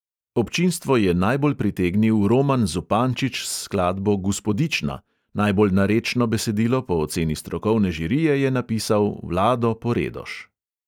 Občinstvo je najbolj pritegnil roman zupančič s skladbo guspodična. najbolj narečno besedilo po oceni strokovne žirije je napisal vlado poredoš.